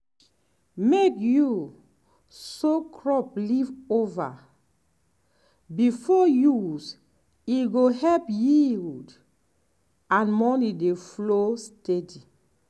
make you soak crop leave-over before use e go help yield and money dey flow steady.